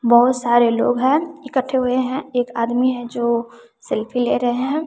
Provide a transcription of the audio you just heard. बहोत सारे लोग हैं इकट्ठे हुए हैं एक आदमी है जो सेल्फी ले रहे हैं।